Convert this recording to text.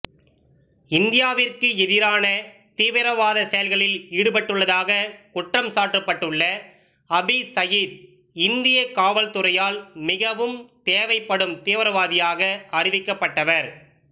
இந்தியாவிற்கு எதிரான தீவிரவாத செயல்களில் ஈடுபட்டுள்ளதாகக் குற்றம் சாட்டப்பட்டுள்ள ஹபீஸ் சயீத் இந்திய காவல்துறையால் மிகவும் தேவைப்படும் தீவிரவாதியாக அறிவிக்கப்பட்டவர்